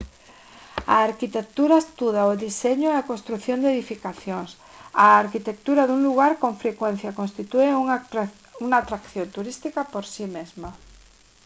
a arquitectura estuda o deseño e a construción de edificacións a arquitectura dun lugar con frecuencia constitúe unha atracción turística por si mesma